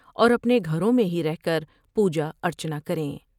اور اپنے گھروں میں ہی رہ کر پوجاا ر چنا کر یں ۔